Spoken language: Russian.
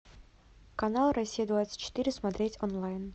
канал россия двадцать четыре смотреть онлайн